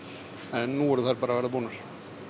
en nú eru þær bara að verða búnar